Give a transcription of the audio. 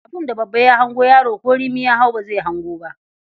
Abin da babba ya hango, yaro ko rimi ya hau ba zai hango ba.